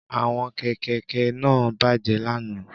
Àwọn kẹ̀kẹ́ kẹ̀kẹ́ náà bàjẹ́ lánàá